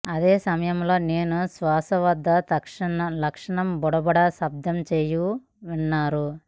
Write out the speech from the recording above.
అదే సమయంలో నేను శ్వాస వద్ద లక్షణం బుడబుడ శబ్దం చేయు విన్నారు